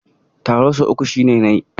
Taro sau uku shine nai.